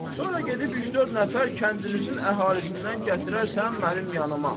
Sonra gedib üç-dörd nəfər kəndinizin əhalisindən gətirərsən mənim yanıma.